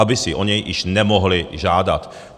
Aby si o něj již nemohly žádat.